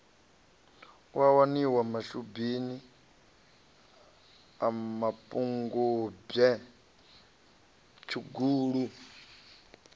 waniwa mashubini a mapungubwe tshugulu